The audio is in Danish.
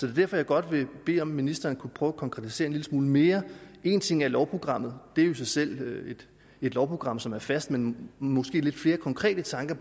er derfor jeg godt vil bede om om ministeren kunne prøve at konkretisere lille smule mere en ting er lovprogrammet det er jo i sig selv et lovprogram som er fast men er måske lidt flere konkrete tanker